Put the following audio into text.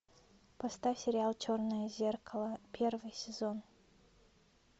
поставь сериал черное зеркало первый сезон